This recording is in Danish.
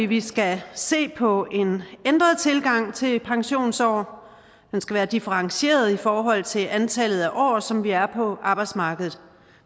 vi skal se på en ændret tilgang til pensionsalder den skal være differentieret i forhold til antallet af år som vi er på arbejdsmarkedet